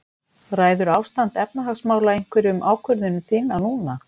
Ræður ástand efnahagsmála einhverju um ákvörðun þína núna?